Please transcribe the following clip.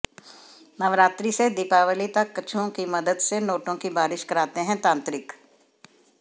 नवरात्रि से दीपावली तक कछुओं की मदद से नोटों की बारिश कराते हैं तांत्रिक